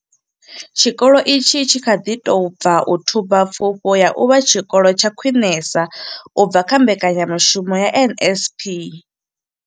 Tshikolo itshi tshi kha ḓi tou bva u thuba pfufho ya u vha tshikolo tsha khwinesa u bva kha mbekanyamushumo ya NSNP.